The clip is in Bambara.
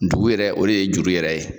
Ntugu yɛrɛ, o de ye juru yɛrɛ ye.